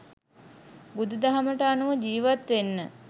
බුදු දහමට අනුව ජීවත් වෙන්න